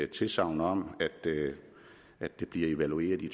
tilsagn om at det bliver evalueret i